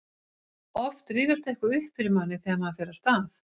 oft rifjast eitthvað upp fyrir manni þegar maður fer af stað